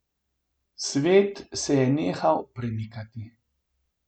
Svet se je nehal premikati.